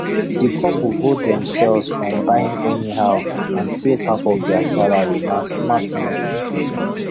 the couple hold themselves from buying anyhow and save half of their salaryna smart move